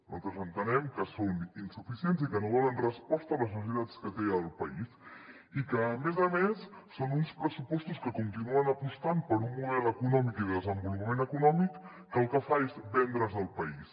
nosaltres entenem que són insuficients i que no donen resposta a les necessitats que té el país i que a més a més són uns pressupostos que continuen apostant per un model econòmic i de desenvolupament econòmic que el que fa és vendre’s el país